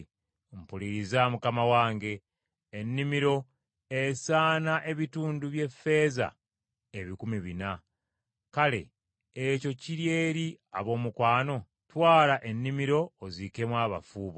“Mpuliriza mukama wange, ennimiro esaana ebitundu by’effeeza ebikumi bina. Kale ekyo ki eri ab’omukwano? Twala ennimiro oziikemu abafu bo.”